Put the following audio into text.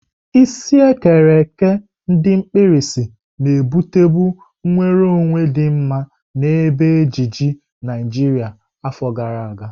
Isi ekere eke ndi mkpirisi na-ebutebu nwere onwe di mma na ebe ejiji Naijiria afọ gara aga.